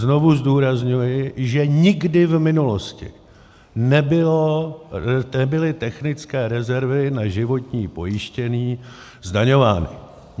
Znovu zdůrazňuji, že nikdy v minulosti nebyly technické rezervy na životní pojištění zdaňovány.